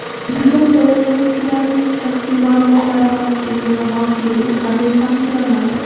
Tizim foydalanuvchilarining shaxsiy ma’lumotlari xavfsizligi va maxfiyligi qanday ta’minlanadi?